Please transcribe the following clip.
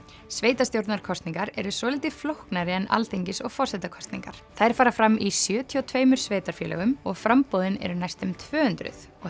sveitastjórnarkosningar eru svolítið flóknari en Alþingis og forsetakosningar þær fara fram í sjötíu og tveimur sveitarfélögum og framboðin eru næstum tvö hundruð og